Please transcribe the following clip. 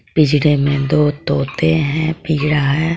पिंजरे मे दो तोते हे पीड़ा है.